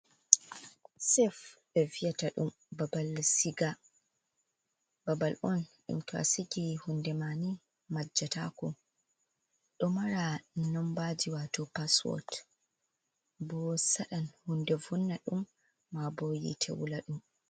Sef ɓe viyata ɗum babal siga. Babal on ɗum to a sigi hunde ma nii majjatako, ɗo maro nnombaji wato paswot, bo saɗan hunde vonna ɗum maa bo yite wula ɗum.